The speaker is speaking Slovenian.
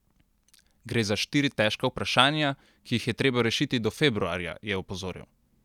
Gre za štiri težka vprašanja, ki jih je treba rešiti do februarja, je opozoril.